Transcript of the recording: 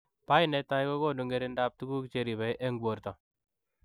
PAI netai kogonuu ngeringindoop tuguk cheribei eng portoo